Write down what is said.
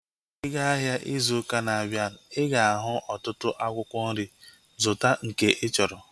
Ị ga-ahịa ịzụ ụkaa na-abịa ị ga-ahu ọtụtụ akwụkwọ nri, zụta nke ịchọrọ